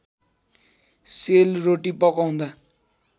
sale roti पकाउँदा